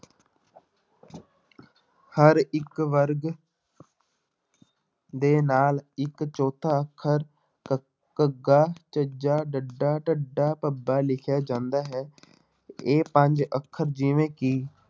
ਹਰ ਇੱਕ ਵਰਗ ਦੇ ਨਾਲ ਇੱਕ ਚੌਥਾ ਅੱਖਰ ਕ~ ਘੱਘਾ, ਝੱਝਾ, ਡੱਡਾ, ਢੱਡਾ, ਭੱਬਾ ਲਿਖਿਆ ਜਾਂਦਾ ਹੈ ਇਹ ਪੰਜ ਅੱਖਰ ਜਿਵੇਂ ਕਿ